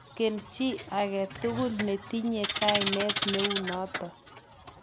manget chii age tugul ne tinyei kainet neu noto